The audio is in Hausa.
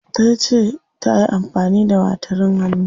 Tace tayi amfani da gatarin hannu.